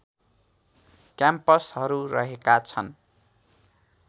क्याम्पसहरू रहेका छन्